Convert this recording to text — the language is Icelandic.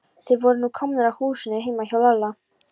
Þeir voru nú komnir að húsinu heima hjá Lalla.